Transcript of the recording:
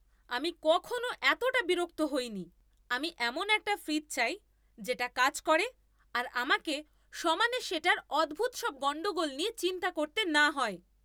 আমি কখনও এতটা বিরক্ত হইনি। আমি এমন একটা ফ্রিজ চাই যেটা কাজ করে আর আমাকে সমানে সেটার অদ্ভুত সব গণ্ডগোল নিয়ে চিন্তা করতে না হয়!